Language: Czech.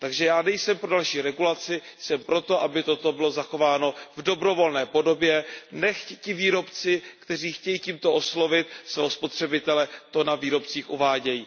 Takže já nejsem pro další regulaci, jsem pro to, aby toto bylo zachováno v dobrovolné podobě, nechť ti výrobci, kteří chtějí tímto oslovit svého spotřebitele, to na výrobcích uvádějí.